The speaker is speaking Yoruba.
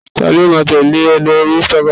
talo ma tẹle e lori Instagram